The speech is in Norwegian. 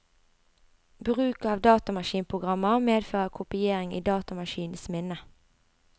Bruk av datamaskinprogrammer medfører kopiering i datamaskinens minne.